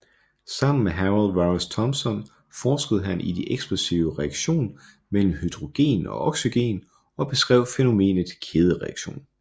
Sammen med Harold Warris Thompson forskede han i de eksplosive reaktion mellem hydrogen og oxygen og beskrev fænomenet kædereaktion